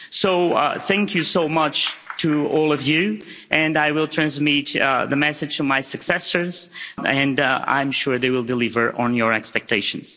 So thank you so much to all of you, and I will transmit the message to my successors, and I'm sure they will deliver on your expectations.